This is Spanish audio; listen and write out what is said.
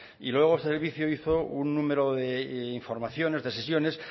y luego el servicio hizo un número de informaciones de sesiones